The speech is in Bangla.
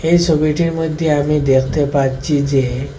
এই সবিটির মধ্যে আমি দেখতে পারছি যে--